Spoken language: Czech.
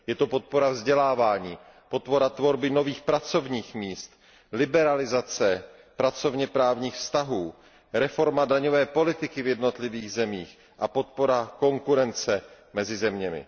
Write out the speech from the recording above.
Je to podpora vzdělávání, podpora tvorby nových pracovních míst, liberalizace pracovně právních vztahů, reforma daňové politiky v jednotlivých zemích a podpora konkurence mezi zeměmi.